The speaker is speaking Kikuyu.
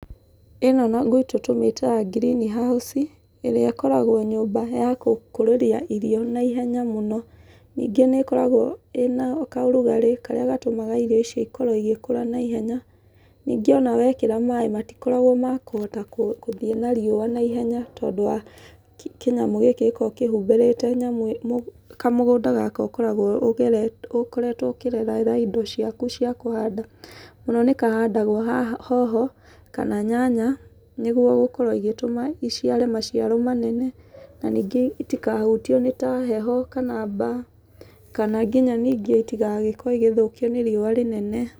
Ĩno gwitũ tũmĩtaga greenhouse, ĩrĩa ĩkoragwo nyũmba ya kũkũrĩrio irio naihenya mũno. Nyingĩ nĩ ĩkoragwo ĩna kaũrugarĩ karĩa gatũmaga irio ici ikorwo igĩkũra naihenya. Ningĩ ona wekĩra maĩ matikoragwo ma kũhota kũthiĩ nariũa naihenya tondũ wa kĩnyamũ gĩkĩ gĩkoragwo kĩhumbĩrĩte nyamũ ĩno kamũgũnda gaka ũkoragwo ũgereti ũkoretwo ũkĩrerera indo ciaku cia kũhanda. Mũno nĩ kahandagwo haha hoho, kana nyanya, nĩguo gũkorwo igĩtũma iciare maciaro manene, na nĩkĩo itikahutio nĩ ta kaheho kana mbaa, kana nginya nyingĩ itagĩgokorwo igĩthũkio nĩ riũa rĩnene.